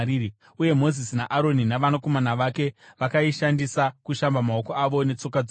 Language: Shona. uye Mozisi naAroni navanakomana vake vakaishandisa kushamba maoko avo netsoka dzavo.